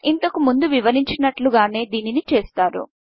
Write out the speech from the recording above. ఇంతకు ముందు వివరించినట్లుగానే దీనిని చేస్తారు